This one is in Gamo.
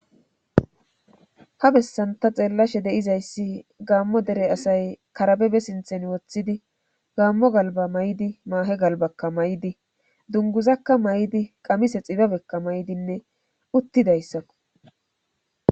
Ha bessanta xeellashe deizayssi gaammo dere asay karabebe sinthen woththidi gaammo galba may"di maahe galbakka may"di dunguzakka may"di qamise xibabekka may"dinne uttidayssakko